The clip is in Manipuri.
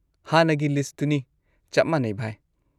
ꯍꯥꯟꯅꯒꯤ ꯂꯤꯁꯠꯇꯨꯅꯤ ꯆꯞ ꯃꯥꯅꯩ, ꯚꯥꯏ꯫